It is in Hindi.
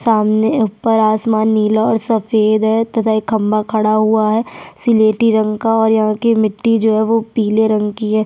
सामने ऊपर आसमान नीला और सफेद हैं तथा एक खम्बा खड़ा हुआ है सिलेटी रंग का और यहाँ की मिटटी जो हे पिले रंग की है।